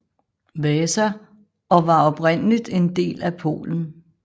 Vasa og var oprindeligt en del af Polen